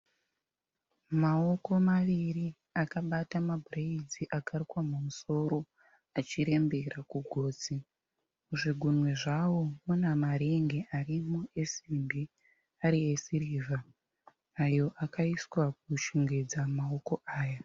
Mawoko maviri akabata mabhureidzi akarukwa mumusoro achirembera achirembera kugotsi. Zvigunwe zvawo unemaringi arimo esimbi ari esirivha ayo akaiswa kushongedza maoko aya.